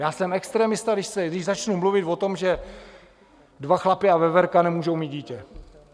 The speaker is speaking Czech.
Já jsem extremista, když začnu mluvit o tom, že dva chlapi a veverka nemůžou mít dítě.